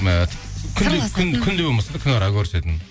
ы күнде болмаса да күнара көрісетін